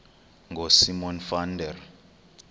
ngosimon van der